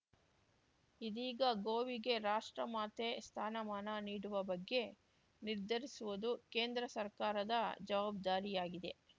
ಇದೀಗ ಗೋವಿಗೆ ರಾಷ್ಟ್ರಮಾತೆ ಸ್ಥಾನಮಾನ ನೀಡುವ ಬಗ್ಗೆ ನಿರ್ಧರಿಸುವುದು ಕೇಂದ್ರ ಸರ್ಕಾರದ ಜವಾಬ್ದಾರಿಯಾಗಿದೆ